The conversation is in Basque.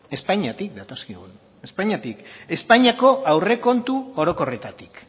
espainiatik datozkigu espainiako aurrekontu orokorretatik